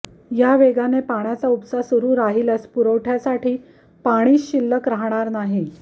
या वेगाने पाण्याचा उपसा सुरू राहिल्यास पुरवठय़ासाठी पाणीच शिल्लक राहणार नाही